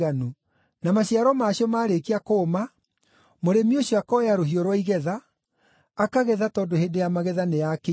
Na maciaro macio maarĩkia kũũma, mũrĩmi ũcio akoya rũhiũ rwa igetha, akagetha tondũ hĩndĩ ya magetha nĩ yakinya.”